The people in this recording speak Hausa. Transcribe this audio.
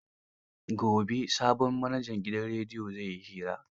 Gobe sabon manajan gidan rediyon zai yi hira.